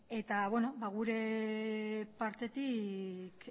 eta beno ba gure partetik